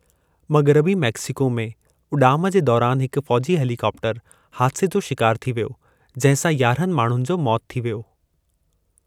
मग़रबी मेक्सिको में उडा॒म जे दौरानि हिकु फ़ौजी हेलीकॉप्टरु हादसे जो शिकारु थी वियो जंहिं सां यारहनि माण्हुनि जो मौतु थी वियो।